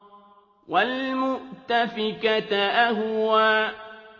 وَالْمُؤْتَفِكَةَ أَهْوَىٰ